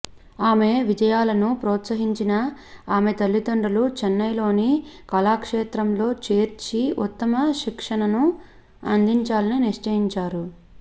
ఆమె విజయాలను పోత్సహించిన ఆమె తల్లిదండ్రులు చెన్నై లోని కళాక్షేత్రంలో చేర్చి ఉత్తమ శిక్షణను అందించాలని నిశ్చయించారు